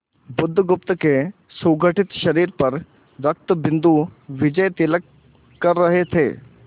बुधगुप्त के सुगठित शरीर पर रक्तबिंदु विजयतिलक कर रहे थे